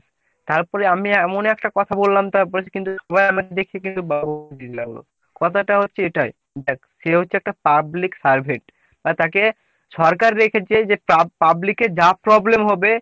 তারপরে আমি এমন একটা কথা বললাম। তারপরে সে কিন্তু ও আমাকে দেখে কিন্তু কথাটা হচ্ছে এটাই দেখ সে হচ্ছে একটা public servant আর তাকে সরকার রেখেছে যে public এর যা problem হবে